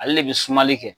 Ale de bɛ sumali kɛ